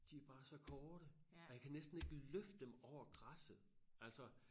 De er bare så korte og jeg kan næsten ikke løfte dem over græsset altså